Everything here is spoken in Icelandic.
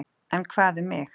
En hvað um mig?